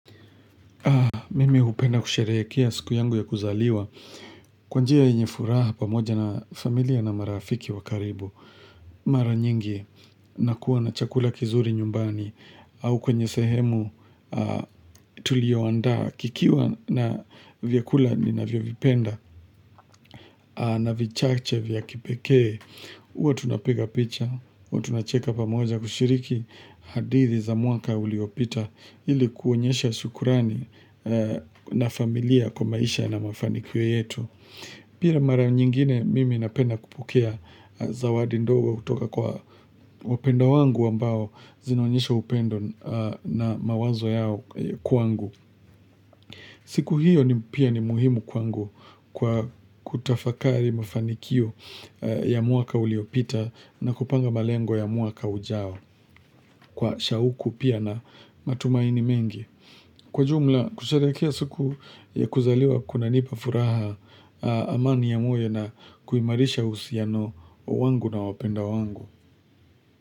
Mimi hupenda kusherekea siku yangu ya kuzaliwa. Kwa njia yenye furaha pamoja na familia na marafiki wa karibu. Mara nyingi nakuwa na chakula kizuri nyumbani au kwenye sehemu tulioandaa kikiwa na vyakula ninavyovipenda na vichache vya kipekee. Uwa tunapiga picha, huwa tunacheka pamoja kushiriki hadithi za mwaka uliopita ili kuonyesha shukrani na familia kwa maisha na mafanikio yetu. Pia mara nyingine mimi napenda kupokea zawadi ndogo kutoka kwa wapendwa wangu ambao zinaonyesha upendo na mawazo yao kwangu. Siku hiyo ni pia ni muhimu kwangu kwa kutafakari mafanikio ya mwaka uliopita na kupanga malengo ya mwaka ujao kwa shauku pia na matumaini mengi Kwa jumla kusherekea siku ya kuzaliwa kunanipa furaha amani ya moyo na kuimarisha uhusiano wangu na wapendwa wangu.